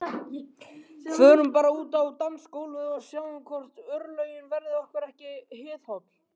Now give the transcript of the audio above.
Förum bara út á gólfið og sjáum hvort örlögin verði okkur ekki hliðholl